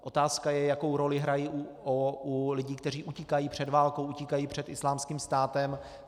Otázka je, jakou roli hrají u lidí, kteří utíkají před válkou, utíkají před Islámským státem.